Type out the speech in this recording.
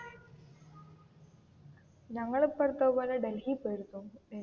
ഞങ്ങൾ ഇപ്പോ അടുത്ത് അതുപോലെ ഡൽഹി പോയിരുന്നു.